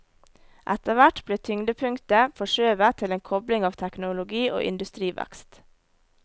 Etterhvert ble tyngdepunktet forskjøvet til en kobling av teknologi og industrivekst.